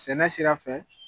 Sɛnɛ sira fɛ.